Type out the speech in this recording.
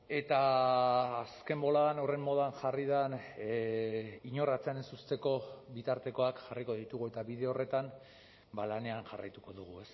eta azken boladan horren modan jarri den inor atzean ez uzteko bitartekoak jarriko ditugu eta bide horretan lanean jarraituko dugu